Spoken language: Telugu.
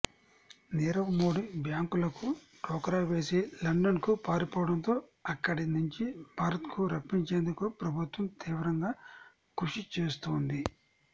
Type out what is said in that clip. నీరవ్ మోడీ బ్యాంకులకు టోకరా వేసి లండన్కు పారిపోవడంతో అక్కడి నుంచి భారత్కు రప్పించేందుకు ప్రభుత్వం తీవ్రంగా కృషిచేస్తోంది